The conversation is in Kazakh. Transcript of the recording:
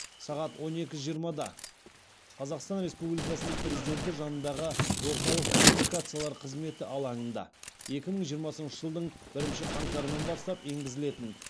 сағат он екі жиырмада қазақстан республикасының президенті жанындағы орталық коммуникациялар қызметі алаңында екі мың жиырмасыншы жылдың бірінші қаңтарынан бастап енгізілетін